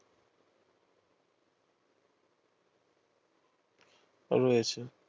রয়েছে